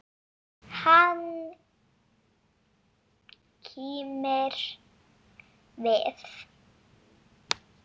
Hann kímir við.